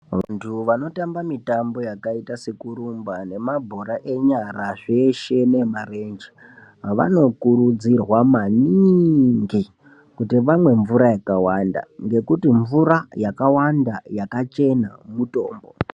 Vantu vanotamba mitambo yakaita sekurumba ngemabhora wenyara zveshe neemarenje vanokurudzirwa maningi kuti vamwe mvura yakawanda ngekuti mvura yakawanda yakachena mutombo